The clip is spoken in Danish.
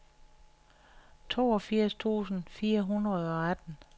toogfirs tusind fire hundrede og atten